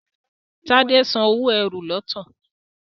Tade sàn owo ẹ́rù lọtọ.